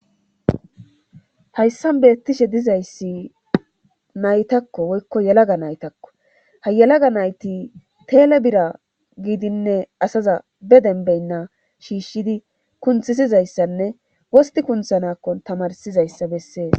hayssan beettishe dizayssi naytakko woykko yelaga naytakko ha yelaga nayti teele bira giidinne asaza be denbeynna shiishshidi kunthisizayssanne wosti kunthanakkon tamarsizayssa bessees